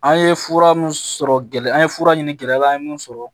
An ye fura mun sɔrɔ gɛlɛya an ye fura ɲini gɛlɛya an ye mun sɔrɔ